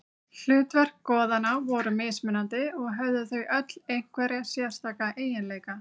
Hlutverk goðanna voru mismunandi og höfðu þau öll einhverja sérstaka eiginleika.